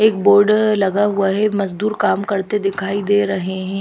एक बोर्ड लगा हुआ है मजदूर काम करते दिखाई दे रहे हैं।